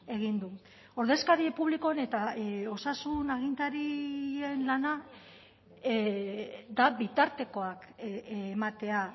egin du ordezkari publikoen eta osasun agintarien lana da bitartekoak ematea